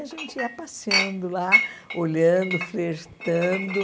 A gente ia passeando lá, olhando, flertando.